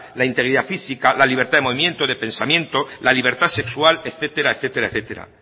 la integridad física la libertad de movimiento de pensamiento la libertad sexual etcétera